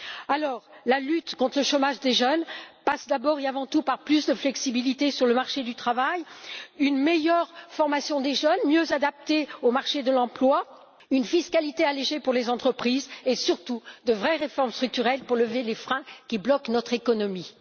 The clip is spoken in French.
Alors, la lutte contre le chômage des jeunes passe d'abord et avant tout par plus de flexibilité sur le marché du travail, une meilleure formation des jeunes, mieux adaptée au marché de l'emploi, une fiscalité allégée pour les entreprises et, surtout, de vraies réformes structurelles pour lever les freins qui bloquent notre économie.